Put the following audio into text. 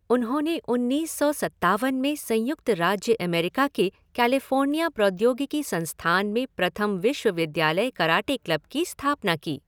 उन्होंने उन्नीस सौ सत्तावन में संयुक्त राज्य अमेरिका के कैलिफ़ोर्निया प्रौद्योगिकी संस्थान में प्रथम विश्वविद्यालय कराटे क्लब की स्थापना की।